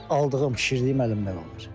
Aldığım, bişirdiyim əlimdə qalır.